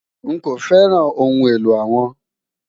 Nkọ fẹ́ràn ọhun èlò awọn